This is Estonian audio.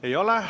Ei ole.